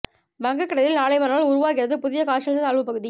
வங்கக் கடலில் நாளை மறுநாள் உருவாகிறது புதிய காற்றழுத்த தாழ்வு பகுதி